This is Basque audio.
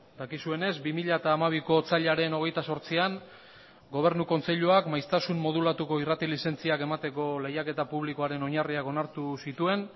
dakizuenez bi mila hamabiko otsailaren hogeita zortzian gobernu kontseiluak maiztasun modulatuko irrati lizentziak emateko lehiaketa publikoaren oinarriak onartu zituen